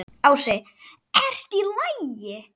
Ási: ERTU Í LAGI?